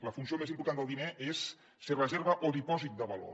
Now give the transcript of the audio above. la funció més important del diner és si és reserva o dipòsit de valor